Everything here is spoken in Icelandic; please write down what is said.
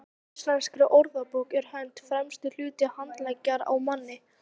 samkvæmt íslenskri orðabók er hönd „fremsti hluti handleggjar á manni